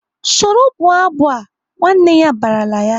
"Soro bụọ abụ a!" Nwanne ya barala ya!